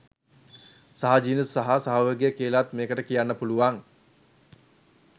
සහජීවනය සහ සහයෝගය කියලත් මේකට කියන්න පුළුවන්.